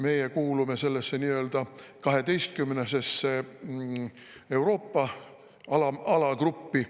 Meie kuulume sellesse nii-öelda 12-sesse Euroopa alagruppi.